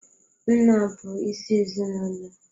Nna bụ isi ezinaụlọ.